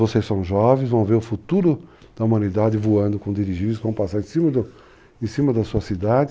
Vocês são jovens, vão ver o futuro da humanidade voando com dirigir, vão passar em cima da sua cidade,